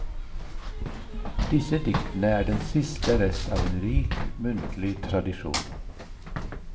Disse diktene er den siste rest av en rik, muntlig tradisjon.